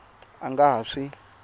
a a nga ha swi